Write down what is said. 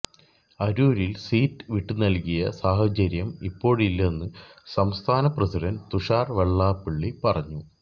അരൂരിൽ സീറ്റ് വിട്ടുനൽകിയ സാഹചര്യം ഇപ്പോഴില്ലെന്നു സംസ്ഥാന പ്രസിഡന്റ് തുഷാർ വെള്ളാപ്പള്ളി പറഞ്ഞു